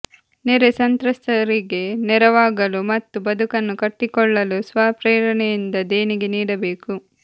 ನೆರೆ ಸಂತ್ರಸ್ತರಿಗೆ ನೆರವಾಗಲು ಮತ್ತು ಬದುಕನ್ನು ಕಟ್ಟಿಕೊಳ್ಳಲು ಸ್ವಪ್ರೇರಣೆಯಿಂದ ದೇಣಿಗೆ ನೀಡಬೇಕು